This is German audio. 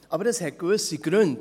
Aber das hat gewisse Gründe.